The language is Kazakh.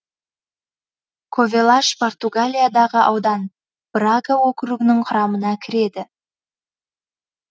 ковелаш португалиядағы аудан брага округінің құрамына кіреді